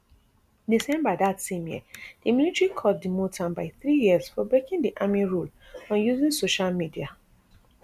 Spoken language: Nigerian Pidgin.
december dat same year di military court demote am by three years for breaking di army rule on using social media